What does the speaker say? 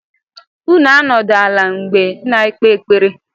Unu anọdụ ala mgbe! na ekpe ekpere!